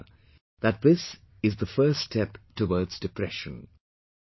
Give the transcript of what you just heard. You can be sure that this the first step towards depression